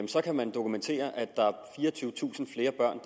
så kan man dokumentere at der er fireogtyvetusind flere børn